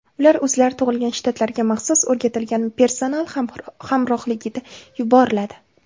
Ular o‘zlari tug‘ilgan shtatlarga maxsus o‘rgatilgan personal hamrohligida yuboriladi.